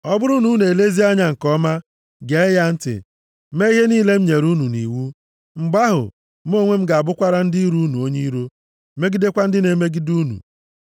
Ọ bụrụ na unu elezie anya nke ọma, gee ya ntị, mee ihe niile m nyere unu nʼiwu, mgbe ahụ, mụ onwe m ga-abụkwara ndị iro unu onye iro, megidekwa ndị na-emegide unu.